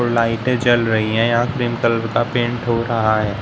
लाइटे जल रही हैं यहां पिंक कलर का पेंट हो रहा है।